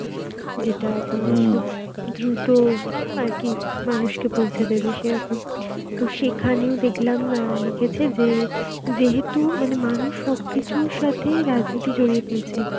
যেটা খুব দ্রুত আর কি মানুষকে পৌঁছে দেবে, সেরকম. তো সেখানেও দেখলাম অ্যাঁ লিখেছে যে যেহেতু মানে মানুষ সবকিছুর সাথেই রাজনীতির জড়িয়ে ফেলছে.